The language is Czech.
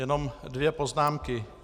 Jenom dvě poznámky.